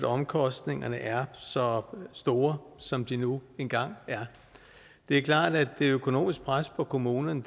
omkostningerne er så store som de nu engang er det er klart at det økonomiske pres på kommunerne